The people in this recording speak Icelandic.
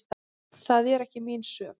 Það er ekki mín sök.